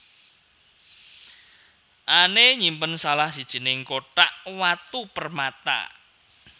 Anne nyimpen salah sijining kothak watu permata